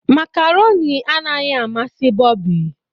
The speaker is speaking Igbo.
macaroni anaghị amasị bobby.